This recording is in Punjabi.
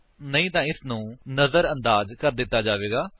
ਨਹੀਂ ਤਾਂ ਇਸਨੂੰ ਨਜਰਅੰਦਾਜ ਕਰ ਦਿੱਤਾ ਜਾਵੇਗਾ